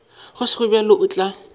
go sego bjalo o tla